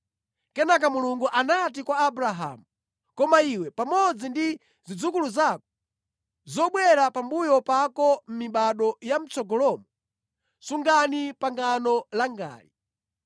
Kenaka Mulungu anati kwa Abrahamu, “Koma iwe pamodzi ndi zidzukulu zako zobwera pambuyo pako mʼmibado ya mʼtsogolomo, sungani pangano langali.